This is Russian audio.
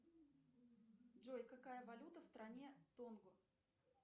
джой какая валюта в стране тонгу